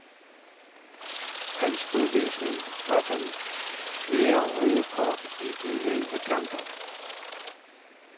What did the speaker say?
Hans udvisning var det fjerde røde kort i de elleve kampe.